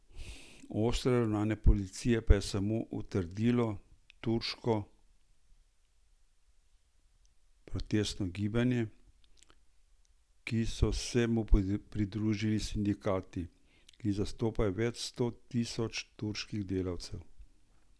Ostro ravnanje policije pa je samo utrdilo turško protestno gibanje, ki so se mu pridružili sindikati, ki zastopajo več sto tisoč turških delavcev.